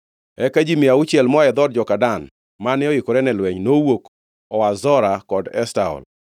Eka ji mia auchiel moa e dhood joka Dan, mane oikore ne lweny, nowuok oa Zora kod Eshtaol.